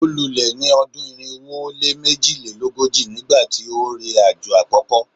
o lule ni odun irinwo o le mejilelogoji nigbati o re ajo akoko